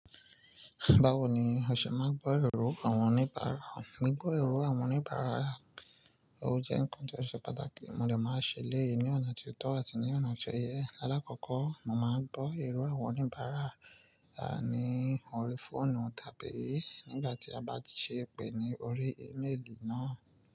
Báwo ni ó ṣe máa gbọ́ ìrú àwọn oníbàárà? Mi gbọ́ ìrú àwọn oníbàárà, ó jẹ́ ǹkan tó ṣe pàtàkì, mo dè máa ṣe léyìí ní ọ̀nà tí ó tọ́ àti ní ọ̀nà tó yẹ. Aláàkọ́kọ́, mo màá gbọ́ ìrú àwọn oníbàárà a ní òrìí fóònù tàbí nígbà tí a bá ṣe pè ní orí ímélì náà.